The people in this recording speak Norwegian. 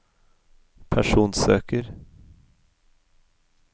personsøker